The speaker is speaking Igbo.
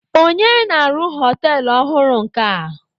Onye na-arụ họtelụ ọhụrụ nke a?